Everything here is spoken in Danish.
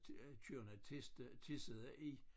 Køerne tisse tissede i